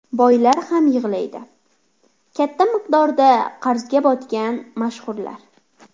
Boylar ham yig‘laydi: Katta miqdorda qarzga botgan mashhurlar.